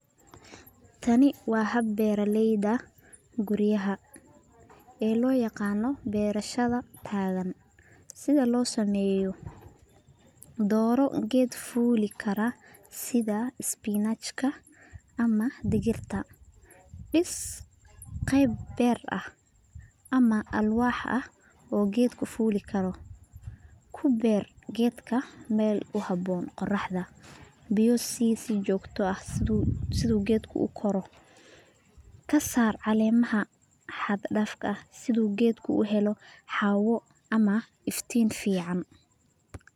Kani waa hab beeraleyda guryaha, sida loo sameeya dooro geed fuuli kara sida spinach ,ama digirta, dis qeeb beer ah ama alwaax oo geed fuuli kara, kasaar cakemaha xad daafka ah si geedka uu uhelo hawo iyo iftiin fican.